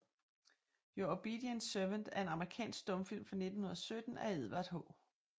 Your Obedient Servant er en amerikansk stumfilm fra 1917 af Edward H